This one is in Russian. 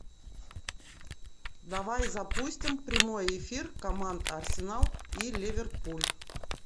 давай запустим прямой эфир команд арсенал и ливерпуль